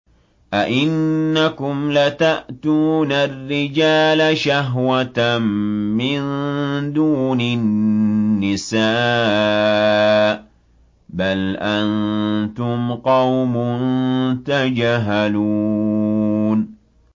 أَئِنَّكُمْ لَتَأْتُونَ الرِّجَالَ شَهْوَةً مِّن دُونِ النِّسَاءِ ۚ بَلْ أَنتُمْ قَوْمٌ تَجْهَلُونَ